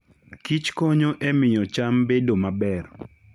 Kich konyo e miyo cham bedo maber.